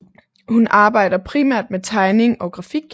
Hun arbejder primært med tegning og grafik